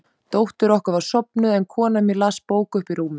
Dóttir okkar var sofnuð, en kona mín las bók uppi í rúmi.